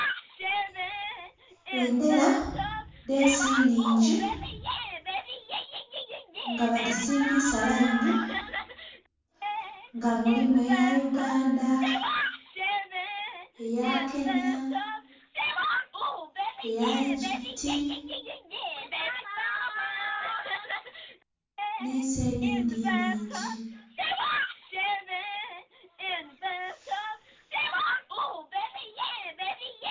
Bbendhera edh'ensi nnhingi nga badhisimbisa laini nga mulimu eya uganda, eya kenya, eya Egypti n'ensi edhindhi nnhingi.